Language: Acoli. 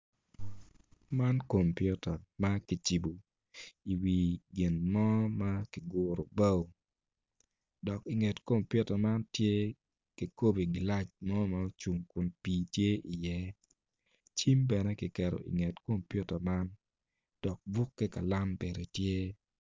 Man komputa ma kicibo iwi gin mo ma kiguru bao dok inget komputa man tye kikobi gilac mo ma ocung kun pii tye i iye cim bene kiketo inget komputa man dok buk ki kalam bene tye